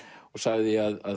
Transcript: og sagði að